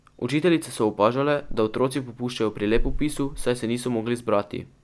Učiteljice so opažale, da otroci popuščajo pri lepopisu, saj se niso mogli zbrati.